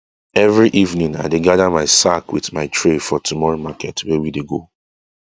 every evening i dey gather my sack with my tray for tomorrow market wey we go go